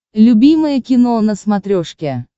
любимое кино на смотрешке